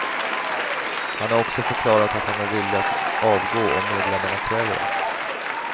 Han har också förklarat att han är villig att avgå om medlemmarna kräver det.